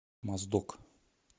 моздок